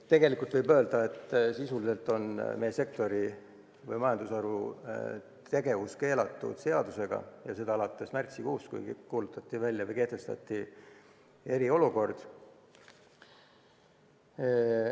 Tegelikult võib öelda, et sisuliselt on meie sektori, meie majandusharu tegevus seadusega keelatud ja seda alates märtsikuust, kui kuulutati välja eriolukord.